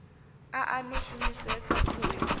a a no shumiseswa khoyu